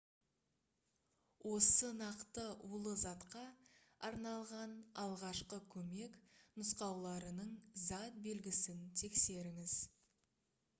осы нақты улы затқа арналған алғашқы көмек нұсқауларының затбелгісін тексеріңіз